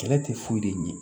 Kɛlɛ tɛ foyi de ɲɛ